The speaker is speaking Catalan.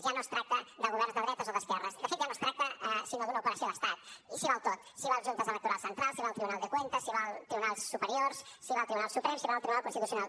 ja no es tracta de governs de dretes o d’esquerres de fet ja no es tracta sinó d’una operació d’estat i s’hi val tot s’hi val junta electoral central s’hi val tribunal de cuentas s’hi valen tribunals superiors s’hi val tribunal suprem s’hi val tribunal constitucional